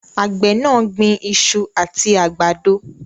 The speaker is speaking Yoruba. Àgbè náà gbin isu àti àgbàdo